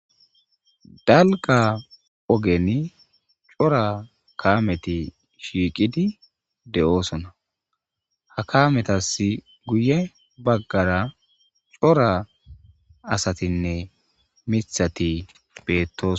Dalgga ogeni cora kamethi shiqidi deo'ssonna. Ha kametha guye bagara cora assathinne mithathi bethossona.